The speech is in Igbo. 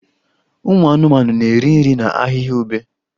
Ụmụ anụmanụ na-eri nri na ahịhịa ube